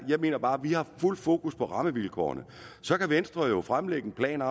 jeg mener bare vi har fuld fokus på rammevilkårene så kan venstre jo fremlægge en plan